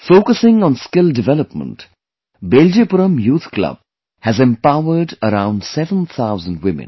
Focusing on skill development, 'Beljipuram Youth Club' has empowered around 7000 women